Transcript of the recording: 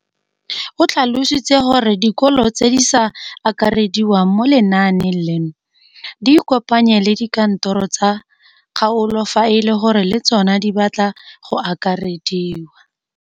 O tlhalositse gore dikolo tse di sa akarediwang mo lenaaneng leno di ikopanye le dikantoro tsa kgaolo fa e le gore le tsona di batla go akarediwa.